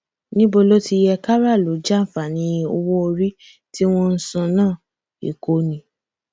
níbo ló ti yẹ kárààlú jàǹfààní owó orí tí wọn ń san náà èkó ni